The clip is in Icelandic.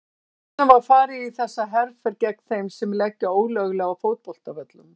Hvers vegna var farið í þessa herferð gegn þeim sem leggja ólöglega á fótboltavöllum?